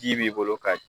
Ji b'i bolo ka